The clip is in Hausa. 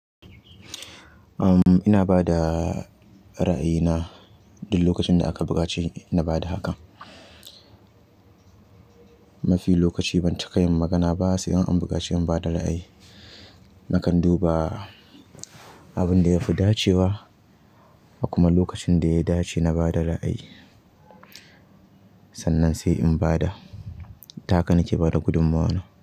Uhm, ina bada ra'ayi na duk lokacin da aka buƙaci na bada haka. Mafi lokaci ban cika yin magana ba sai an bikace na bada layi. Nakan duba abin da ya fi dacewa kuma lokacin da ya dace na bada ra'ayi. Sannan sai in bada. Ta hakan nike bada gudummawana.